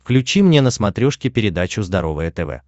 включи мне на смотрешке передачу здоровое тв